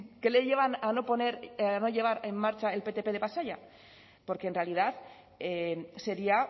qué le lleva a no poner a no llevar en marcha el ptp de pasaia porque en realidad sería